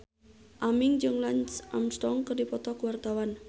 Aming jeung Lance Armstrong keur dipoto ku wartawan